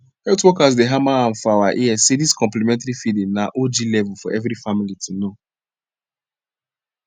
health workers dey hammer am for our ears say this complementary feeding na og level for everi family to know